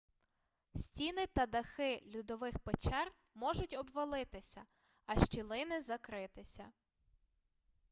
стіни та дахи льодових печер можуть обвалитися а щілини закритися